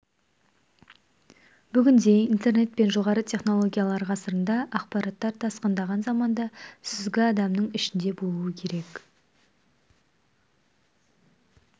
бүгінде интернет пен жоғары технологиялар ғасырында ақпараттар тасқындаған заманда сүзгі адамның ішінде болу керек